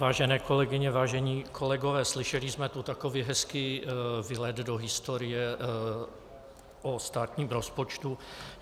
Vážené kolegyně, vážení kolegové, slyšeli jsme tu takový hezký výlet do historie o státním rozpočtu.